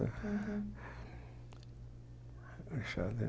Uhum Em xadrez.